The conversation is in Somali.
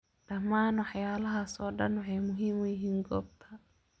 Dhammaan waxyaalahaas oo dhan waxay muhiim u yihiin goobta.